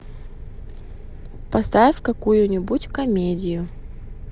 поставь какую нибудь комедию